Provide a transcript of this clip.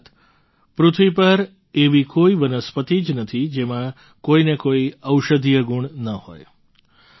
અર્થાત્ પૃથ્વી પર એવી કોઈ વનસ્પતિ જ નથી જેમાં કોઈ ને કોઈ ઔષધીય ગુણ ન હોય